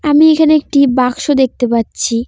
আমি এখানে একটি বাক্স দেখতে পাচ্ছি।